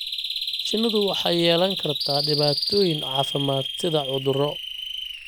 Shinnidu waxay yeelan kartaa dhibaatooyin caafimaad sida cudurro.